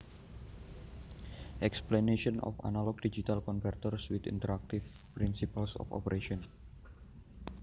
Explanation of analog digital converters with interactive principles of operations